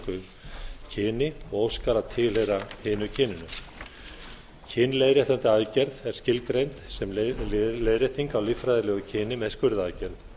kyni og óskar að tilheyra hinu kyninu kynleiðréttandi aðgerð er skilgreind sem leiðrétting á líffræðilegu kyni með skurðaðgerð